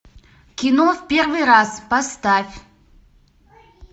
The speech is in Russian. кино в первый раз поставь